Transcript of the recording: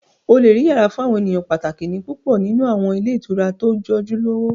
O lè rí yàrá fún àwọn èèyàn pàtàkì ní púpọ̀ nínú àwọn ilé ìtura tó jẹ́ ojúlówó